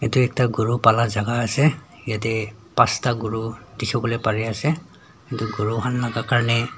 etu ekta gura pala jaka asae yadae phasta kuru dikipolae pari asae etu kuru khan laga karnae.